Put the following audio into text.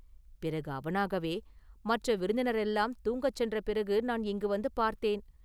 பிறகு அவனாகவே, “மற்ற விருந்தினரெல்லாம் தூங்கச் சென்ற பிறகு நான் இங்கு வந்து பார்த்தேன்.